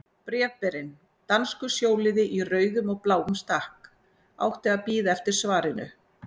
Bréfberinn, danskur sjóliði í rauðum og bláum stakk, átti að bíða eftir svarinu.